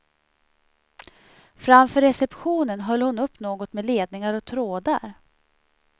Framför receptionen höll hon upp något med ledningar och trådar.